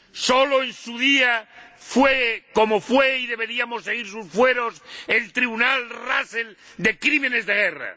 Sólo en su día fue como fue, y deberíamos seguir sus fueros, el Tribunal Russell de crímenes de guerra.